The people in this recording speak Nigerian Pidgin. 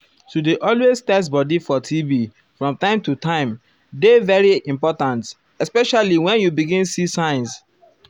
to dey always test bodi for tb from time to time dey very ah important especially wen you begin see see signs.